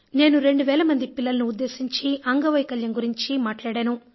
నేను 2 వేల మంది పిల్లలను ఉద్దేశించి అంగవైకల్యం గురించి మాట్లాడాను